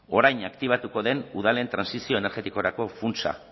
orain aktibatuko den udalen trantsizio energetikorako funtsa